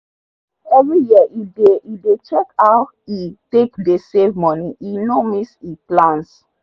every year he dey he dey check how e take dey save make e no miss e plans